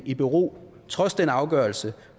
i bero trods den afgørelse